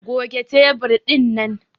Goge tebur dinnan!